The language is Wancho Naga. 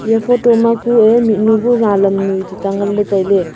eya photo ma kue mihnu bu ralam noi tuta ngan ley tai ley.